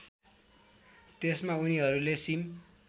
त्यसमा उनीहरूले सिम